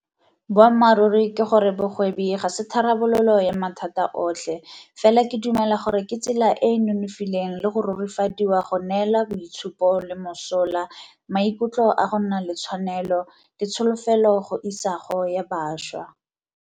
Boammaruri ke gore bogwebi ga se tharabololo ya mathata otlhe, fela ke dumela gore ke tsela e e nonofileng le go rurifadiwa go neela boitshupo le mosola, maikutlo a go nna le tshwanelo, le tsholofelo go isago ya bašwa.